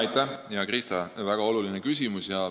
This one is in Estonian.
Aitäh, hea Krista, väga oluline küsimus!